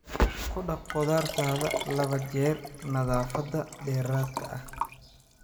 Ku dhaq khudaartaada laba jeer nadaafadda dheeraadka ah.